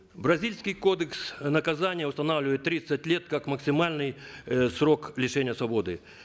бразильский кодекс наказания устанавливает тридцать лет как максимальный э срок лишения свободы